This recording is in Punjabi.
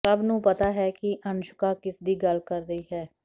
ਸਭ ਨੂੰ ਪਤਾ ਹੈ ਕਿ ਅਨੁਸ਼ਕਾ ਕਿਸਦੀ ਗੱਲ ਕਰ ਰਹੀ ਹੈ